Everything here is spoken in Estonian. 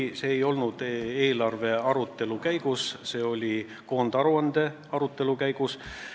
Aga see ei olnud eelarve arutelu käigus, see oli koondaruande arutelu käigus.